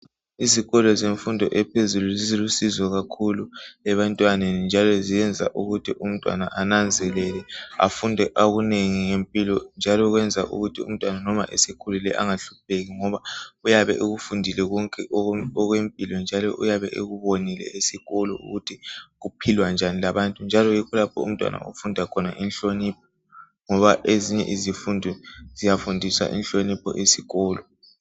Izikolo zemfundo ephezulu zilusizo kakhulu ebantwaneni njalo ziyenza ukuthi umntwana ananzelele afunde akunengi ngempilo njalo kwenza ukuthi umntwana noma esekhulile engahlupheki ngoba uyabe ekufundile konke okwempilo njalo uyabe ekubonile esikolo ukuthi kuphilwa njani labantu njalo yikho lapho umntwana afunda khona inhlonipho ngoba ezinye izifundo ziyafundisa inhlonipho esikolo.